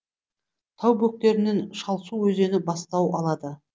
тау бөктерінен шалсу өзені бастау алады